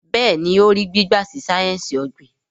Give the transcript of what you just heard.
Béèni o rí gbígba sí sáyẹnsì ogbin.